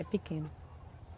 É pequeno.